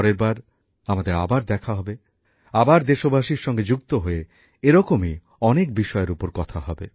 পরের বার আমাদের আবার দেখা হবে আবার দেশবাসীর সঙ্গে যুক্ত হয়ে এরকমই অনেক বিষয়ের উপর কথা হবে